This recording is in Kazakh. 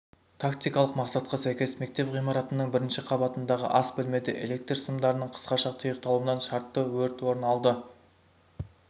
тактикалық мақсатқа сәйкес мектеп ғимаратының бірінші қабатындағы ас бөлмеде электр сымдарының қысқаша тұйықталуынан шартты өрт орын алды